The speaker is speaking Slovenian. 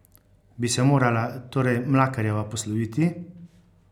Bi se morala torej Mlakarjeva posloviti?